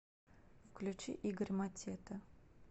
включи игорь матета